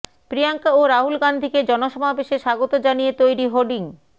প্রিয়াঙ্কা ও রাহুল গান্ধীকে জনসমাবেশে স্বাগত জানিয়ে তৈরি হোর্ডিং